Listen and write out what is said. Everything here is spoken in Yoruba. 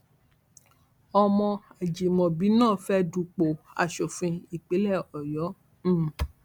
ọmọ àjìmọbí náà fẹẹ dúpọ aṣòfin ìpínlẹ ọyọ um